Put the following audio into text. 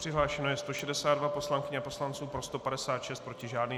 Přihlášeno je 162 poslankyň a poslanců, pro 156, proti žádný.